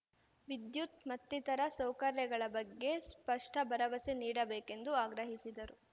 ವಿದ್ಯುತ್‌ ಮತ್ತಿತರ ಸೌಕರ್ಯಗಳ ಬಗ್ಗೆ ಸ್ಪಷ್ಟಭರವಸೆ ನೀಡಬೇಕೆಂದು ಆಗ್ರಹಿಸಿದರು